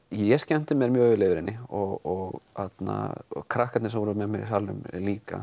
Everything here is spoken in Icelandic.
ég skemmti mér vel yfir henni og krakkarnir sem voru með mér í salnum líka